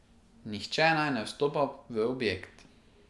Nihče naj ne vstopa v objekt.